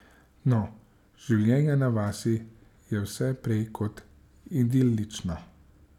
No, življenje na vasi je vse prej kot idilično.